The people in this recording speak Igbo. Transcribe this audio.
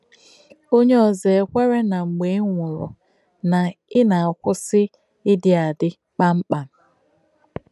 Onyè ózọ̀ è kwèrē nà mgbé ị nwụ̀rù, nà ị nà-akwụ́sì ìdí àdí, kpàṃ kpàṃ.